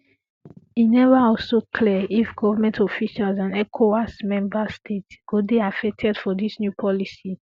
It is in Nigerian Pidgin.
e um neva also clear if govment officials and ecowas member states um go dey affected for dis new policy